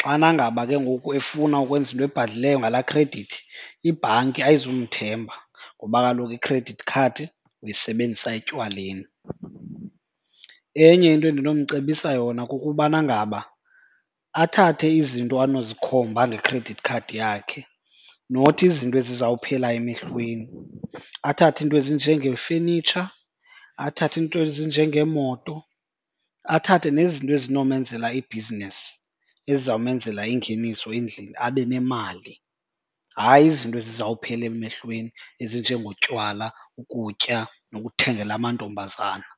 Xana ngaba ke ngoku efuna ukwenza into ebhadlileyo ngalaa khredithi ibhanki ayizumthemba ngoba kaloku ikhredithi khadi uyisebenzisa etywaleni. Enye into endinomcebisa yona kukubana ngaba athathe izinto anozikhomba ngekhredithi khadi yakhe, not izinto ezizawuphela emehlweni. Athathe iinto ezinjengefenitsha, athathe iinto ezinjengeemoto, athathe nezinto ezinomenzela ibhizinesi, ezizawumenzela ingeniso endlini abe nemali. Hayi izinto ezizawuphela emehlweni ezinjengotywala, ukutya nokuthengela amantombazana.